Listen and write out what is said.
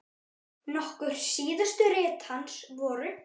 Nokkur síðustu rit hans voru